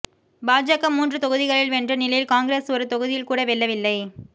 பாஜக மூன்று தொகுதிகளில் வென்ற நிலையில் காங்கிரஸ் ஒரு தொகுதியில் கூட வெல்லவில்லை